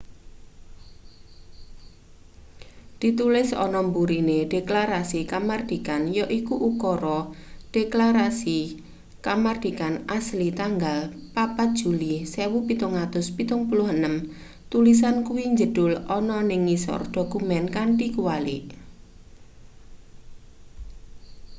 ditulis ana mburine deklarasi kamardikan yaiku ukara deklasrasi kamardikan asli tanggal 4 juli 1776 tulisan kuwi njedhul ana ning ngisor dokumen kanthi kwalik